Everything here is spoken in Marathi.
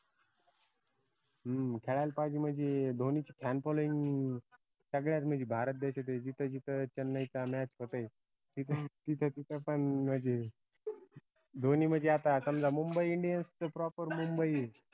हम्म खळायला पाईजे म्हनजे धोनीची fanfollowing सगळ्याच म्हनजे भारत देशातय जिथं जिथं चेन्नईचा match होते तिथं तिथं पन म्हनजे धोनी म्हनजे आता समजा मुंबई indians च proper मुंबई ए